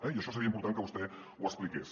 i això seria important que vostè ho expliqués